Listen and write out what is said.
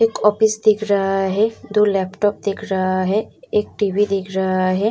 एक ऑफिस दिख रहा है दो लैपटॉप दिख रहा है एक टी.वी. दिख रहा है।